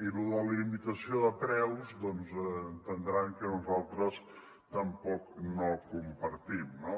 i lo de limitació de preus doncs entendran que nosaltres tampoc no ho compartim no